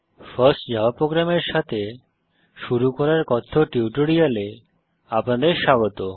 first Java program এর সাথে শুরু করার কথ্য টিউটোরিয়ালে আপনাদের স্বাগত